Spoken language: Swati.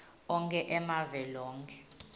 onkhe emave loke